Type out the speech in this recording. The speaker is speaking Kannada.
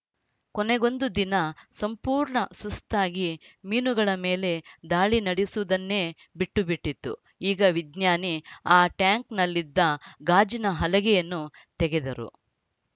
ಕೊನೆಗೊಂದು ದಿನ ಸಂಪೂರ್ಣ ಸುಸ್ತಾಗಿ ಮೀನುಗಳ ಮೇಲೆ ದಾಳಿ ನಡೆಸುವುದನ್ನೇ ಬಿಟ್ಟುಬಿಟ್ಟಿತು ಈಗ ವಿಜ್ಞಾನಿ ಆ ಟ್ಯಾಂಕ್‌ನಲ್ಲಿದ್ದ ಗಾಜಿನ ಹಲಗೆಯನ್ನು ತೆಗೆದರು